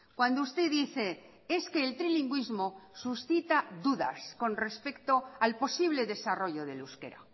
cuando usted dice es que el trilingüismo suscita dudas con respecto al posible desarrollo del euskera